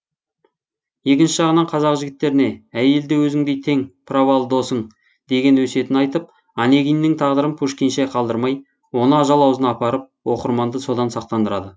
екінші жағынан қазақ жігіттеріне әйел де өзіңдей тең праволы досың деген өсиетін айтып онегиннің тағдырын пушкинше қалдырмай оны ажал аузына апарып оқырманды содан сақтандырады